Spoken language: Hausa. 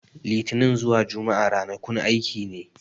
Litini zuwa Jumma'a ranakun aiki ne.